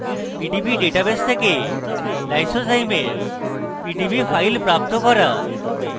ইঙ্গিত: PDB database থেকে lysozyme এর পিডিবি file প্রাপ্ত করুন